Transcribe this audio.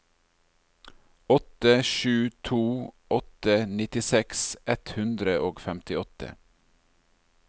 åtte sju to åtte nittiseks ett hundre og femtiåtte